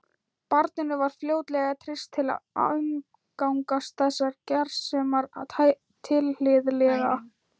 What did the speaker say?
Barninu var fljótlega treyst til að umgangast þessar gersemar tilhlýðilega.